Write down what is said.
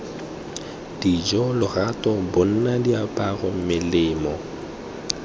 dijo lorato bonno diaparo melemo